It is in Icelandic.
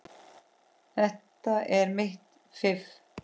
Þetta er mitt fiff.